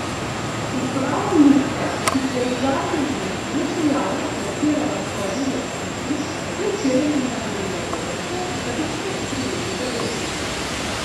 Uprava Luke, ki se je v zadnjih dneh le še javno prepirala s svojimi lastniki, je včeraj menda mirila delavce, da bi spet prijeli za delo.